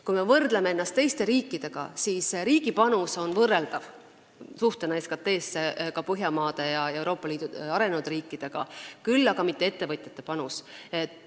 Kui me võrdleme ennast teiste riikidega, siis näeme, et riigi panus suhtena SKT-sse on võrreldav ka Põhjamaade ja Euroopa Liidu arenenud riikide panusega, küll aga mitte ettevõtjate panus.